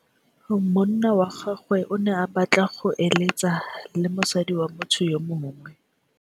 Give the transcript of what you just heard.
Monna wa gagwe o ne a batla go êlêtsa le mosadi wa motho yo mongwe.